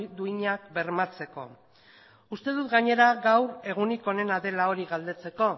duinak bermatzeko uste dut gainera gaur egunik onena dela hori galdetzeko